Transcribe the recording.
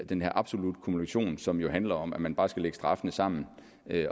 den her absolutte kumulation som handler om at man bare skal lægge straffene sammen